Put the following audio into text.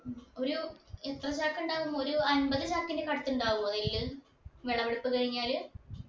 ഉം ഒരു എത്ര ചാക്ക് ഉണ്ടാവും ഒരു അമ്പത് ചാക്കിന്റെ കട്ട് ഉണ്ടാവോ ഇതിൽ വിളവെടുപ്പ് കഴിഞ്ഞാല്